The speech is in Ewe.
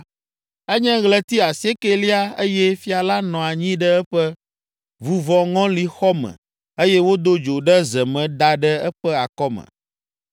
Enye ɣleti asiekɛlia eye fia la nɔ anyi ɖe eƒe vuvɔŋɔlixɔ me eye wodo dzo ɖe ze me da ɖe eƒe akɔme.